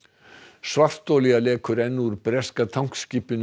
svartolía lekur enn úr breska